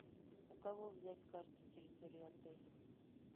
у кого взять карту территории отеля